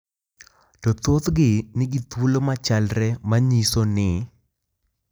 To thothgi nigi thuolo machalre ma nyiso ni .